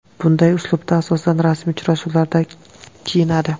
Bunday uslubda, asosan, rasmiy uchrashuvlarda kiyinadi.